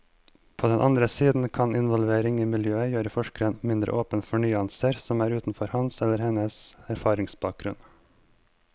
På den andre side kan involvering i miljøet gjøre forskeren mindre åpen for nyanser som er utenfor hans eller hennes erfaringsbakgrunn.